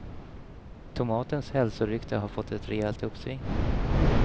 Tomatens hälsorykte har fått ett rejält uppsving.